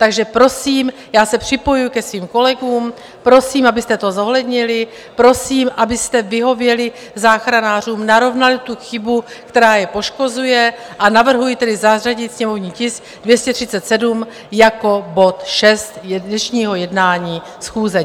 Takže prosím, já se připojuji ke svým kolegům, prosím, abyste to zohlednili, prosím, abyste vyhověli záchranářům, narovnali tu chybu, která je poškozuje, a navrhuji tedy zařadit sněmovní tisk 237 jako bod 6 dnešního jednání schůze.